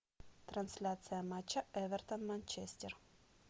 трансляция матча эвертон манчестер